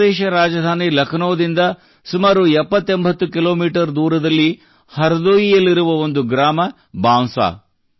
ಉತ್ತರಪ್ರದೇಶ ರಾಜಧಾನಿ ಲಕ್ನೋದಿಂದ ಸುಮಾರು 7080 ಕಿಲೋಮೀಟರ್ ದೂರದಲ್ಲಿ ಹರ್ದೋಯಿಯಲ್ಲಿರುವ ಒಂದು ಗ್ರಾಮ ಬಾಂಸಾ